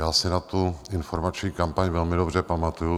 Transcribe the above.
Já si na tu informační kampaň velmi dobře pamatuji.